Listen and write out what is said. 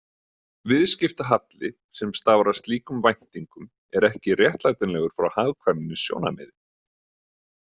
Viðskiptahalli sem stafar af slíkum væntingum er ekki réttlætanlegur frá hagkvæmnissjónarmiði.